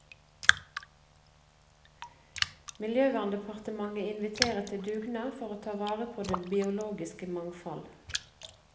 Miljøverndepartementet inviterer til dugnad for å ta vare på det biologiske mangfoldet.